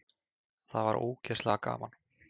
Það var ógeðslega gaman.